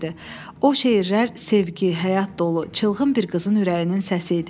O şeirlər sevgi, həyat dolu, çılğın bir qızın ürəyinin səsi idi.